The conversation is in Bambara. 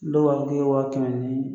Dɔw b'a fɔ k'e ye wa kɛmɛ ni